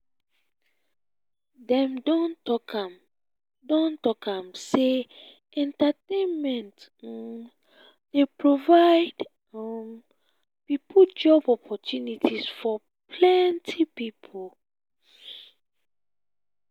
dem don talk am don talk am sey entertainment um dey provide um job opportunities for plenty pipo um